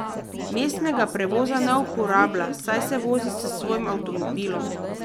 Mestnega prevoza ne uporablja, saj se vozi s svojim avtomobilom.